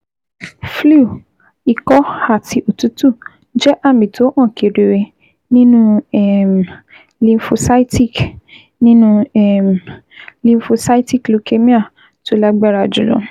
Flu, ikọ́, àti òtútù jẹ́ àmì tó hàn kedere nínú um lymphocytic nínú um lymphocytic leukemia tó lágbára jùlọ